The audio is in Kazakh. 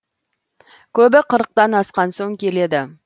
көбі қырықтан асқан соң келеді